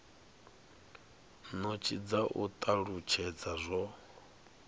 notsi dza u talutshedza zwo